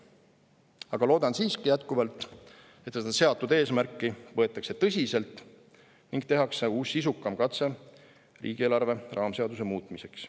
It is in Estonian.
Aga loodan siiski, et eesmärki võetakse tõsiselt ning tehakse uus sisukam katse riigieelarve raamseaduse muutmiseks.